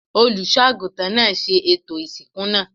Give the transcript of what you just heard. Olùṣọ́ àgùntàn náà ṣe ètò ìsìnkú náà.